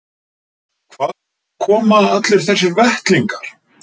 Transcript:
Og hvaðan koma allir þessir vettlingar?